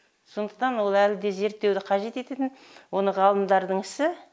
сондықтан ол әлі де зерттеуді қажет ететін оны ғалымдардың ісі